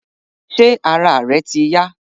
Ṣé ara rẹ ti yá